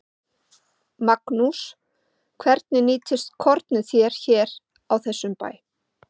Magnús: Hvernig nýtist kornið þér hér á þessum bæ?